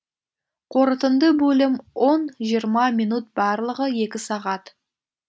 қорытынды бөлім он жиырма минут барлығы екі сағат